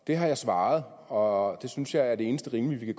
det har jeg svaret og det synes jeg er det eneste rimelige vi